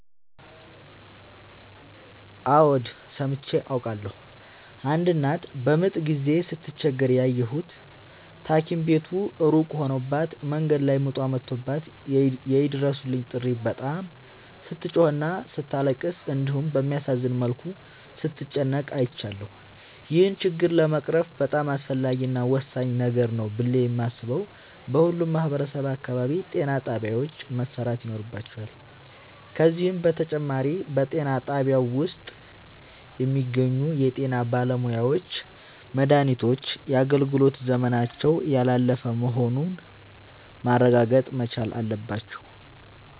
አዎድ ሠምቼ አውቃለሁ። አንድ እናት በምጥ ጊዜ ስትቸገር ያየሁት ታኪም ቤቱ እሩቅ ሆኖባት መንገድ ላይ ምጧ መቶባት የይድረሡልኝ ጥሪ በጣም ስትጮህና ስታለቅስ እንዲሁም በሚያሳዝን መልኩ ስትጨነቅ አይቻለሁ። ይህን ችግር ለመቅረፍ በጣም አስፈላጊ እና ወሳኝ ነገር ነው ብሌ የማሥበው በሁሉም ማህበረሠብ አካባቢ ጤናጣቢያዎች መሠራት ይኖርባቸዋል። ከዚህም በተጨማሪ በጤናጣቢያው ውስጥ የሚገኙ የጤናባለሙያዎች መድሃኒቶች የአገልግሎት ዘመናቸው ያላለፈ መሆኑን ማረጋገጥ መቻል አለባቸው።